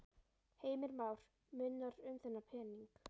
Heimir Már: Munar um þennan pening?